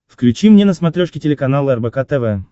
включи мне на смотрешке телеканал рбк тв